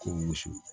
Kɔ muso